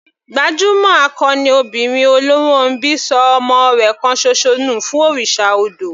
Gbajúmọ̀ akọni obìnrin Oluronbi ṣọ ọmọ rẹ̀ kan ṣoṣo nù fún òrìṣà odò.